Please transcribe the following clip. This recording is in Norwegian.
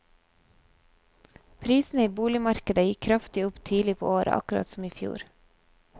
Prisene i boligmarkedet gikk kraftig opp tidlig på året akkurat som i fjor.